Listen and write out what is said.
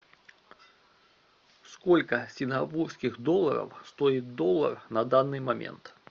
сколько сингапурских долларов стоит доллар на данный момент